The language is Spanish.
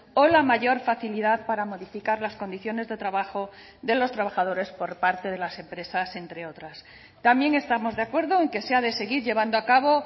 o la mayor facilidad para modificar las condiciones de trabajo de los trabajadores por parte de las empresas entre otras también estamos de acuerdo en que se ha de seguir llevando a cabo